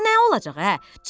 Ə, nə olacaq ə?